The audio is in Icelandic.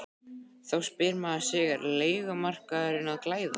Þá spyr maður sig er leigumarkaðurinn að glæðast?